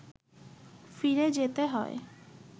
ফিরে যেতে হয়